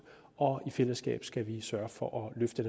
og i fællesskab skal vi sørge for at løfte